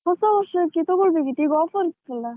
ಹೊಸ ವರ್ಷಕ್ಕೆ ತೊಗೋಳ್ಬೇಕಿತ್ತು, ಈಗ offer ಇತ್ತಲ್ಲ.